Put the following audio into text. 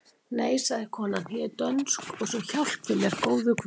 Nei, sagði konan,-ég er ekki dönsk svo hjálpi mér góður Guð!